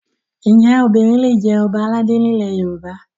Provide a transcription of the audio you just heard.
Ǹjẹ́ obìnrin lè jẹ Ọba aládé ni ilẹ̀ Yorùbá?